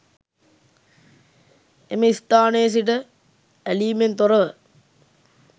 එම ස්ථානයේ සිට ඇලීමෙන් තොර ව